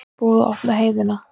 Búið að opna heiðina